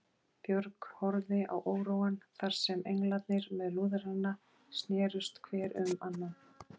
Björg horfði á óróann þar sem englarnir með lúðrana snerust hver um annan.